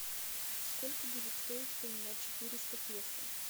сколько будет стоить поменять четыреста песо